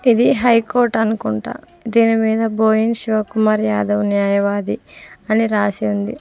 ఇది high court అనుకుంట దీని మీద బోయిన్ శివ కుమార్ యాదవ్ న్యాయవాది అని రాసి ఉంది.